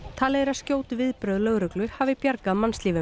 talið er að skjót viðbrögð lögreglu hafi bjargað mannslífum